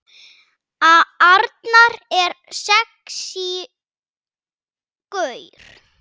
Arnar er sexí gaur.